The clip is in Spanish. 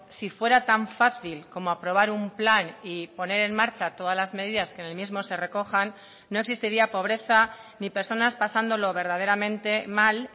si fuera tan fácil como aprobar un plan y poner en marcha todas las medidas que en el mismo se recojan no existiría pobreza ni personas pasándolo verdaderamente mal